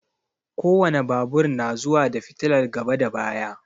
Ko wane babur na zuwa da fitilar gaba da baya.